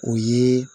O ye